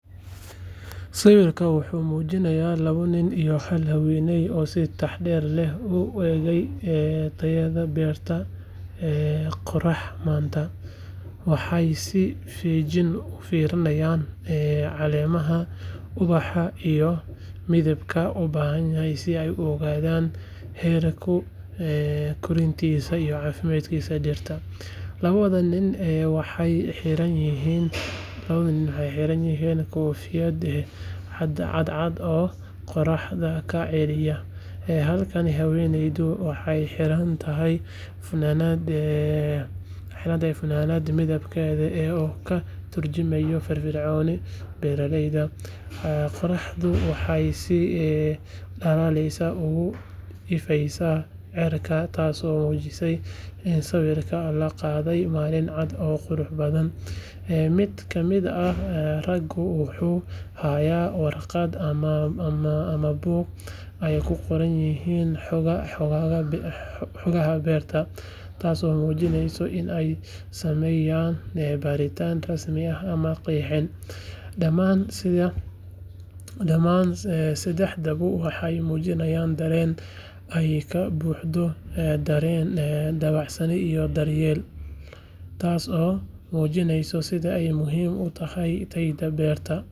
Sawirkan wuxuu mujinaya lawa nin iyo hal haweney si tax der leh u egey tayaada beerta qorax manta waxee si fijin ufirini hayan ee calemaha ubaxa iyo midabka, halkani haweneyda waxee xirata fananada midabkeeda yahay oo ka turjumaya fir firconi qoraxu waxee si dalaleysa ogu ifeysa cirka tas oo bixise sawirka laqadhe malin cad oo qurux badan, tas oo mujinaya in ee sameyan damaan saxdawa waxee mujiini hayan daren.